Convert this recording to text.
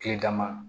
Kile dama